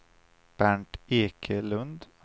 Bernt Ekelund